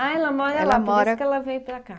Ah, ela mora lá, por isso que ela veio para cá.